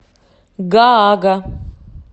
гаага